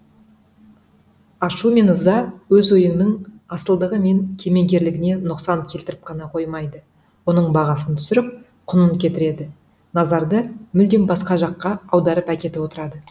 ашу мен ыза өз ойыңның асылдығы мен кемеңгерлігіне нұқсан келтіріп қана қоймайды оның бағасын түсіріп құнын кетіреді назарды мүлдем басқа жаққа аударып әкетіп отырады